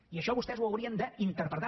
i això vostès ho haurien d’interpretar